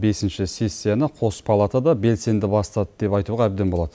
бесінші сессияны қос палатада белсенді бастады деп айтуға әбден болады